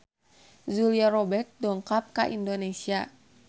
Julia Robert dongkap ka Indonesia